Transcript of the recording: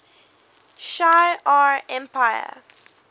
shi ar empire